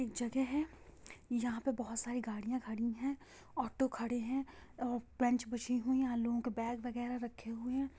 एक जगह है| यहां पे बहुत सारी गड़िया खड़ी हैऑटो खड़े है हुई है| यहां पे लोगो के बैग वागेर रखे हूआ है।